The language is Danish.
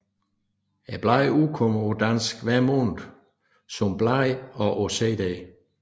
Bladet udkommer på dansk hver måned som blad og på CD